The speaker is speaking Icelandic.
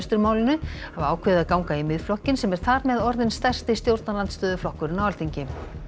Klausturmálinu hafa ákveðið að ganga í Miðflokkinn sem er þar með orðinn stærsti stjórnarandstöðuflokkurinn á Alþingi